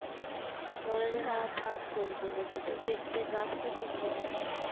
বলা যায় না থাক ফুলগুলো যাতে দেখতে গাছ টা সুন্দর লাগে